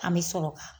An bɛ sɔrɔ ka